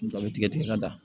Dɔ bɛ tigɛ tigɛ ka da